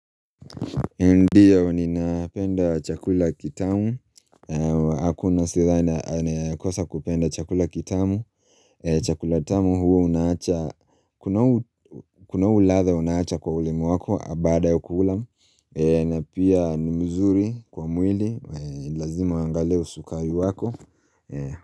Ndio ninapenda chakula kitamu Hakuna sidhani anayekosa kupenda chakula kitamu Chakula tamu huo unaacha Kuna huu ladha unaacha kwa ulimi wako baada ya kula na pia ni mzuri kwa mwili Lazima uangalie usukari wako.